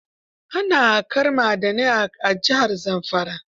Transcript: Ana haƙar ma'adanai a jihar Zamfara.